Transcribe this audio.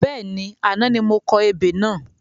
Bẹ́ẹ̀ni, àná ni mo kọ ebè náà